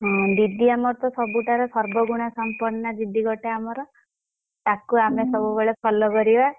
ଦିଦି ଆମର ତ ସବୁ ଠାରୁ ସର୍ବଗୁଣା ସମ୍ପର୍ଣ ଦିଦି ଗୋଟେ ଆମର ତାକୁ ଆମେ ସବୁବେଳେ follow କରିବା।